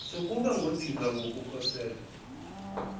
sokuba ngodinga ukukhosela